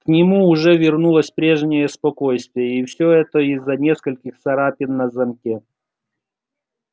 к нему уже вернулось прежнее спокойствие и всё это из-за нескольких царапин на замке